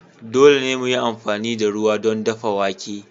Dole ne mu yi amfani da ruwa don dafa wake.